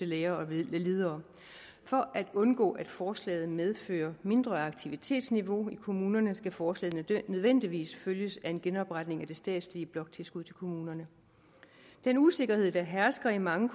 lærere og ledere for at undgå at forslaget medfører mindre aktivitetsniveau i kommunerne skal forslaget nødvendigvis følges af en genopretning af det statslige bloktilskud til kommunerne den usikkerhed der hersker i mange